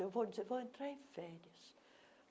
Eu vou dizer, vou entrar em férias.